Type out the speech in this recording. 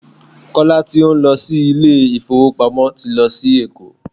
Kọ́lá tí ó ń lọ sí ilé ìfowópamọ́ ti lọ sí Èkó.